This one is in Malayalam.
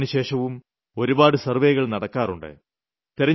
തിരഞ്ഞെടുപ്പിന് ശേഷവും ഒരുപാട് സർവ്വേകൾ നടക്കാറുണ്ട്